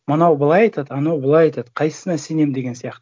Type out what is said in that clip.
мынау былай айтады анау былай айтады қайсысына сенемін деген сияқты